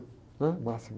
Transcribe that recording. né? O máximo.